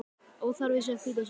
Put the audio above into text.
Óþarfi sé að flýta sér.